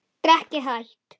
Drekkið hægt.